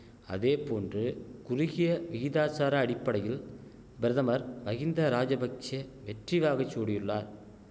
அதேபோன்று குறுகிய விகிதாசார அடிப்படையில் பிரதமர் மஹிந்தராஜபக்ஷெ வெற்றிவாகை சூடியுள்ளார்